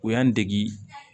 U y'an dege